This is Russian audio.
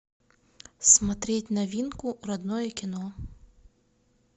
смотреть новинку родное кино